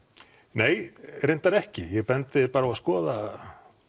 nei reyndar ekki ég bendi þér bara á að skoða